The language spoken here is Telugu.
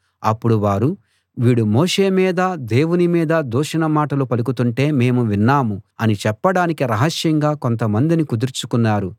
అప్పుడు వారు వీడు మోషే మీదా దేవుని మీదా దూషణ మాటలు పలుకుతుంటే మేము విన్నాము అని చెప్పడానికి రహస్యంగా కొంతమందిని కుదుర్చుకున్నారు